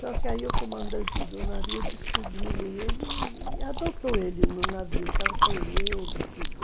Só que aí o comandante do navio descobriu ele e adotou ele no navio, tratou ele e tudo.